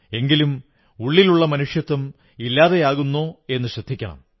എങ്കിലും ഉള്ളിലുള്ള മനുഷ്യത്വം ഇല്ലാതെയാകുന്നോ എന്നു ശ്രദ്ധിക്കണം